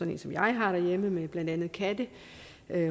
en som jeg har derhjemme blandt andet katte